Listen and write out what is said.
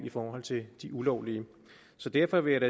i forhold til de ulovlige så derfor vil